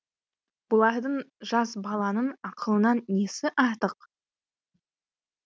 бұлардың жас баланың ақылынан несі артық